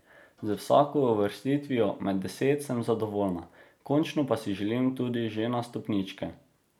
Z vsako uvrstitvijo med deset sem zadovoljna, končno pa si želim tudi že na stopničke.